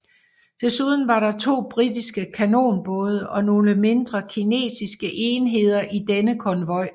Desuden var der to britiske kanonbåde og nogle mindre kinesiske enheder i denne konvoj